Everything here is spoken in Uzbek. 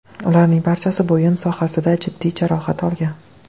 Ularning barchasi bo‘yin sohasida jiddiy jarohat olgan.